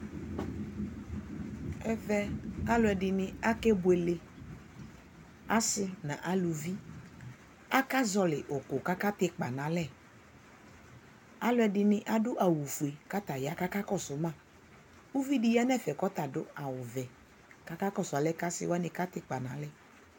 ʒvʒ alʋʒdini akʒbʋʒlʒ, asii nʋ aluvi, aka zɔli ʋkʋ kʋ aka tʒ ikpanʋ nʋ alʒ, alʋʒdini adʋ awʋ fuʒ kʋ ɔtaya kʋ akakɔsʋ ma, , ʋvi di yanʋ ʒfʒ kʋ ɔta adʋ awʋ vʒʒ kʋ aka kɔsʋ alʒ kʋ aka tʒ ikpa nʋ alʒ